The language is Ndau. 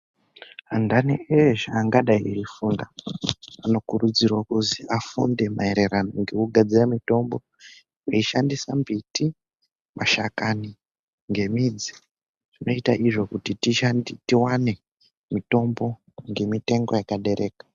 Antani eshe angadai eifunda anokurudzirwa kuzi afunde maererano ngekugadzira mitombo veishandisa mbiti ,masamashakani ngemidzi anoite izvo kuti tiwane mitombo ngemitengo yakadereka.